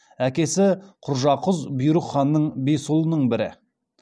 әкесі құржақұз бұйрық ханның бес ұлының бірі